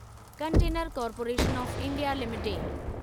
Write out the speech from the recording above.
container corporation of India limited